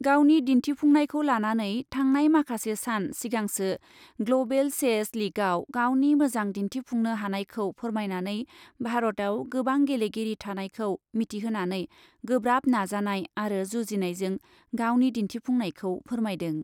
गावनि दिन्थिफुंनायखौ लानानै थांनाय माखासे सान सिगांसो ग्लबेल चेस लीगआव गावनि मोजां दिन्थिफुंनो हानायखौ फोरमायनानै भारतआव गोबां गेलेगिरि थानायखौ मिथिहोनानै गोब्राब नाजानाय आरो जुजिनायजों गावनि दिन्थिफुंनायखौ फोरमायदों।